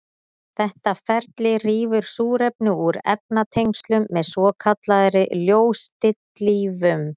Þetta ferli rýfur súrefni úr efnatengslum með svokallaðri ljóstillífun.